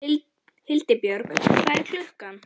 Hildibjörg, hvað er klukkan?